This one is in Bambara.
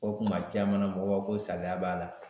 O kuma caman na mɔgɔw b'a fɔ ko salaya b'a la